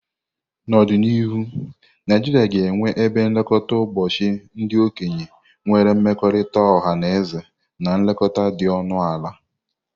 N'ọdịnihu, Naijiria ga-enwe ebe nlekọta ụbọchị ndị okenye nwere mmekọrịta ọha na ezi na nlekọta dị ọnụ ala.